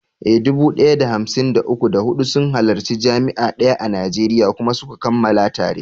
Eh, dubu ɗaya da hamsin da uku, da huɗu sun halarci jami’a daya a Najeriya kuma suka kammala tare.